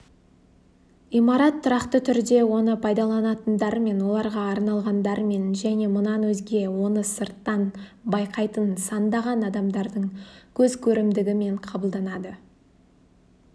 имарат тұрақты түрде оны пайдаланатындармен оларға арналғандармен және мұнан өзге оны сырттан байқайтын сандаған адамдардың көзкөрімдігімен қабылданады